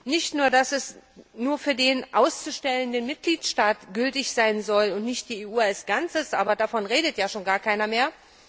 Nicht nur, dass die Regelung nur für den ausstellenden Mitgliedstaat gültig sein soll und nicht für die EU als Ganzes, aber davon redet ja schon gar keiner mehr.